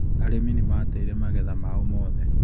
Arĩmi nĩ maateire magetha mao mothe.